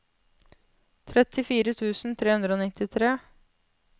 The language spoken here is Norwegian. trettifire tusen tre hundre og nittitre